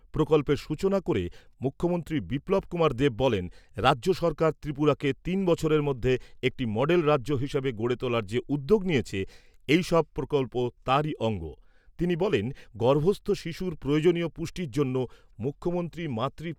প্রকল্পের সূচনা করে মুখ্যমন্ত্রী বিপ্লব কুমার দেব বলেন , রাজ্য সরকার ত্রিপুরাকে তিন বছরের মধ্যে একটি মডেল রাজ্য হিসাবে গড়ে তোলার যে উদ্যোগ নিয়েছে, এই সব প্রকল্প তারই অঙ্গ৷ তিনি বলেন , গর্ভস্থ শিশুর প্রয়োজনীয় পুষ্টির জন্য মুখ্যমন্ত্রী মাতৃ